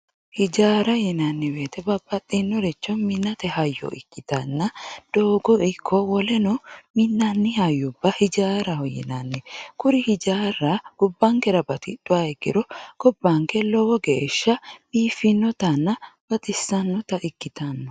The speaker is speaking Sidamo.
ijaara yinanniwoyiite babbaxinoricho minate hayyo ikkitanna doogo ikko woleno minanni hayyubba ijaaraho yinanni kuri ijaarra gobbankera batixxuha ikkiro gobbanke lowo geesha biifinnotanna baxissannota ikkitanno.